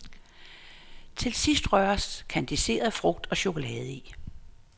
Til sidst røres kandiseret frugt og chokolade i.